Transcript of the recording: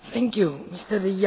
Pani Przewodnicząca!